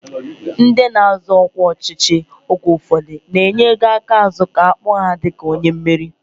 Ndị na-azọ ọkwa ọchịchị oge ụfọdụ na-enye ego aka azụ ka a kpọọ ha dịka onye meriri